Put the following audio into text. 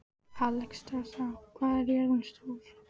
Alexstrasa, hvað er jörðin stór?